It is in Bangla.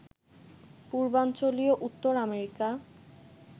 পূর্বাঞ্চলীয় উত্তর আমেরিকা